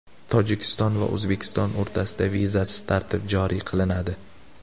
Tojikiston va O‘zbekiston o‘rtasida vizasiz tartib joriy qilinadi.